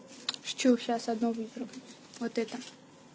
шучу сейчас одно выберу вот это